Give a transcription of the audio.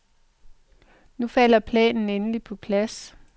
Nu falder planen endeligt på plads.